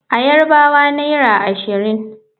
A Yarbawa naira ashirin.